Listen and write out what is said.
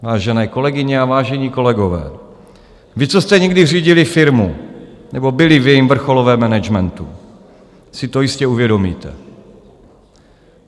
Vážené kolegyně a vážení kolegové, vy, co jste někdy řídili firmu nebo byli v jejím vrcholovém managementu, si to jistě uvědomíte.